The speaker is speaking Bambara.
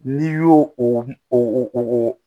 N'i y'o o